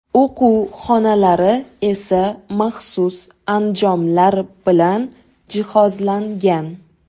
O‘quv xonalari esa maxsus anjomlar bilan jihozlangan.